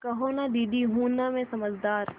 कहो न दीदी हूँ न मैं समझदार